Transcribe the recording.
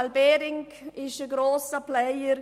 CSL Behring ist ein grosser Player.